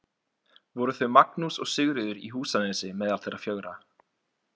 Voru þau Magnús og Sigríður í Húsanesi meðal þeirra fjögurra.